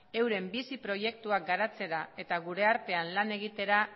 euren bizi proiektuak garatzera eta gure artean lan egitera